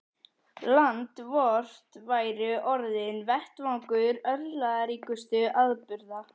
Land vort væri orðinn vettvangur örlagaríkustu atburða.